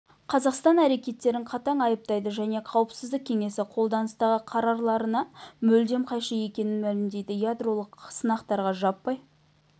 қазақстан әрекеттерін қатаң айыптайды және қауіпсіздік кеңесі қолданыстағы қарарларына мүлдем қайшы екенін мәлімдейді ядролық сынақтарға жаппай